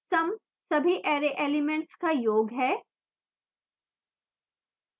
sum सभी array elements का योग है